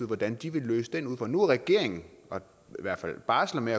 hvordan de vil løse den udfordring nu har regeringen i hvert fald barslet med